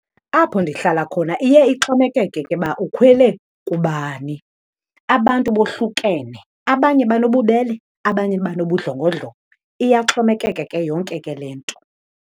Apho ndihlala khona iye ixhomekeke ke uba ukhwele kubani. Abantu bohlukene, abanye banobubele, abanye banobudlongodlongo. Iyaxhomekeka ke yonke ke le nto.